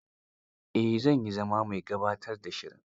Eh, zan iya zama mai gabatar da shiri.